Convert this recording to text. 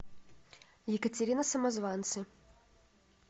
екатерина самозванцы